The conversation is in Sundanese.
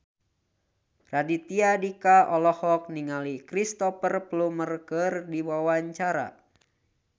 Raditya Dika olohok ningali Cristhoper Plumer keur diwawancara